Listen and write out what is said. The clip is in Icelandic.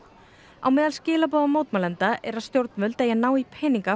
á meðal skilaboða mótmælenda er að stjórnvöld eigi að ná í peninga